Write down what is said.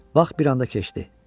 Vaxt bir anda keçdi.